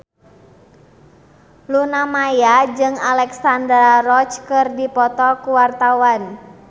Luna Maya jeung Alexandra Roach keur dipoto ku wartawan